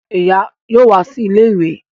Ìyá yóò wá sí ilé ìwé